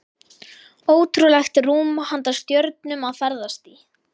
Ótrúlegt rúm handa stjörnum að ferðast í.